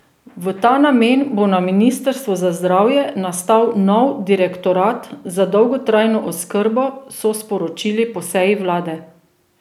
V ta namen bo na ministrstvu za zdravje nastal nov direktorat za dolgotrajno oskrbo, so sporočili po seji vlade.